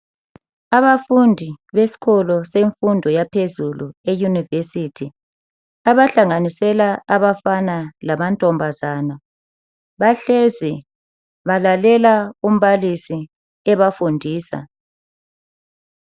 Abafundi besikolo semfundo yaphezulu eUnirvesity abahlanganisela abafana lamantombazana bahlezi balalela umbalisi ebafundisa.